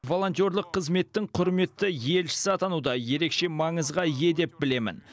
волонтерлық қызметтің құрметті елшісі атану да ерекше маңызға ие деп білемін